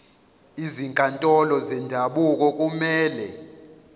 izinkantolo zendabuko kumele